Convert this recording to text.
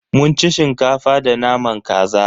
Mun ci Shinkafa da naman kaza.